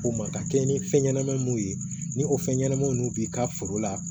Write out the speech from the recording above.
Ko ma ka kɛ ni fɛn ɲɛnama mun ye ni o fɛn ɲɛnamaw b'i ka foro la